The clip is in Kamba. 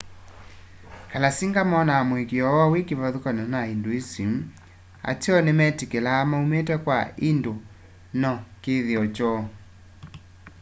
kalasinga monaa muikiio woo wi kivathukany'o na hinduism ateo nimetikilaa maumite kwa hindu na kithio kyoo